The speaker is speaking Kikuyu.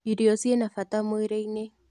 Irio cina bata mwĩrĩ-inĩ.